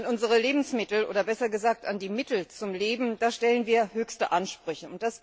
An unsere Lebensmittel, oder besser gesagt, an die Mittel zum Leben, stellen wir höchste Ansprüche.